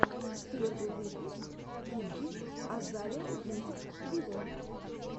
первый выпуск игги азалия мьюзик виво